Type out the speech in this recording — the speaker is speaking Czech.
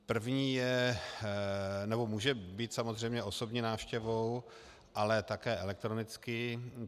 První je, nebo může být samozřejmě osobní návštěvou, ale také elektronicky.